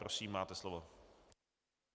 Prosím, máte slovo.